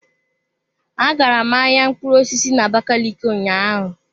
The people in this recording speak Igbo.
Agara m ahịa mkpụrụ osisi na abakaliki ụnyaahụ.